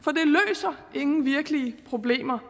er ingen virkelige problemer